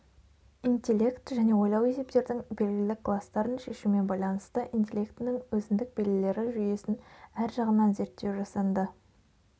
интеллект және ойлау есептердің белгілі кластарын шешумен байланысты интеллектінің өзідік белгілері жүйесін әр жағынан зерттеу жасанды